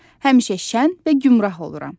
Həmişə şən və gümrah oluram.